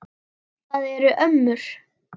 Það eru ömmur.